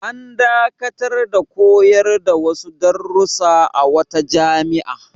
An dakatar da koyar da wasu darussa a wata jami'a.